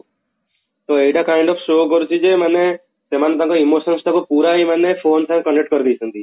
ତ ଏଇଟା kind of show କରୁଛି ଯେ ମାନେ ସେମାନେ ତାଙ୍କ emotions ତାକୁ ପୁରା ହିଁ ମାନେ phone ସାଙ୍ଗେ connect କରିଦେଇଛନ୍ତି